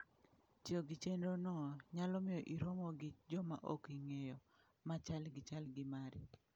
Tiyo gi chenro no nyalo miyo iromo gi joma ok ing'eyo, ma chal gi chal gi mari.